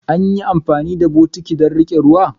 Anyi, kuma ankan amfani da bokitti don rike ruwa.